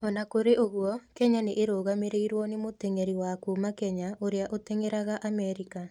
O na kũrĩ ũguo, Kenya nĩ ĩrũgamĩrĩirũo nĩ mũtengeri wa kuuma Kenya ũrĩa ũrateng'erera Amerika